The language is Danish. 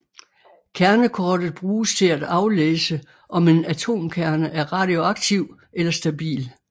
Kernekortet bruges til at aflæse om en atomkerne er radioaktiv eller stabil